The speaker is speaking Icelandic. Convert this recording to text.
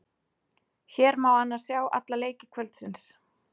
Hér má annars sjá alla leiki kvöldsins.